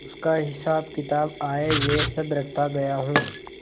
उसका हिसाबकिताब आयव्यय सब रखता गया हूँ